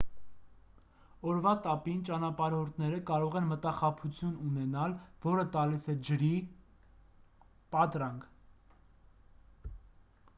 օրվա տապին ճանապարհորդները կարող են մտախաբություն ունենալ որը տալիս է ջրի կամ այլ բաների պատրանք: